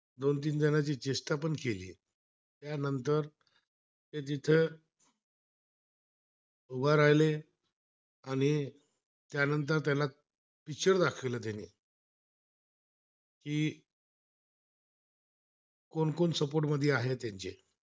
जी कोण कोण सपोर्ट मध्ये आहे त्यांची